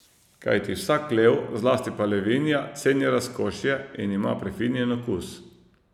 Kajti vsak lev, zlasti pa levinja, ceni razkošje in ima prefinjen okus.